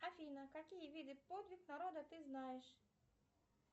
афина какие виды подвиг народа ты знаешь